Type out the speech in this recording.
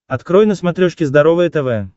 открой на смотрешке здоровое тв